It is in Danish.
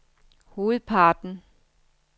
hovedparten